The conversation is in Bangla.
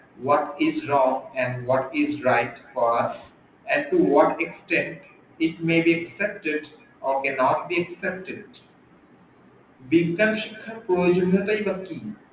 What is wrong and what is right এতো word এসেছে its may accepted or can not be accepted বিজ্ঞান শিক্ষার প্রজনীয়তা বা কি